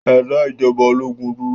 Ẹ dá ijọba ológun dúró!